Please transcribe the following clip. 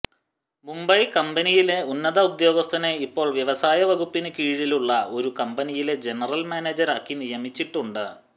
മുംബൈ കമ്പനിയിലെ ഉന്നത ഉദ്യോഗസ്ഥനെ ഇപ്പോൾ വ്യവസായ വകുപ്പിന് കീഴിലുള്ള ഒരു കമ്പനിയിലെ ജനറൽ മാനേജർ ആക്കി നിയമിച്ചിട്ടുണ്ട്